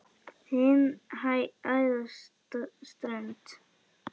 Hin æðsta hönd.